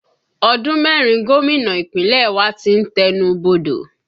Ọdún mẹ́rin gómìnà Ìpínlẹ̀ wa tí ń tẹnu bodò